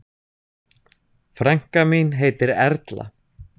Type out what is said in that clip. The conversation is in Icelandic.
Frænka mín heitir Erla.